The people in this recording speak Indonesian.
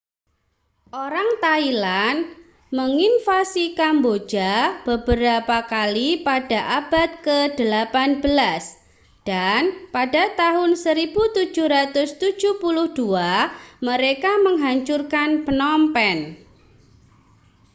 orang thailand menginvasi kamboja beberapa kali pada abad ke-18 dan pada tahun 1772 mereka menghancurkan phnom phen